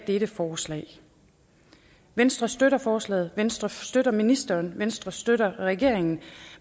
dette forslag venstre støtter forslaget venstre støtter ministeren venstre støtter regeringen